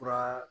Fura